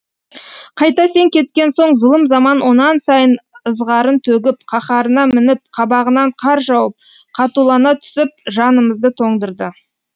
қайта сен кеткен соң зұлым заман онан сайын ызғарын төгіп қаһарына мініп қабағынан қар жауып қатулана түсіп жанымызды тоңдырды